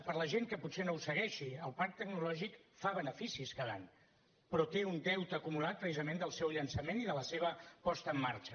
per a la gent que potser no ho segueixi el parc tecnològic fa beneficis cada any però té un deute acumulat precisament del seu llançament i de la seva posada en marxa